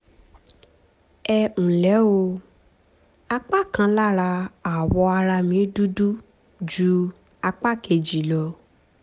ẹ ǹlẹ́ o apá kan lára awọ ara mi dúdú ju apá kejì lọ